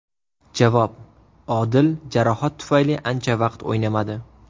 Javob: Odil jarohat tufayli ancha vaqt o‘ynamadi.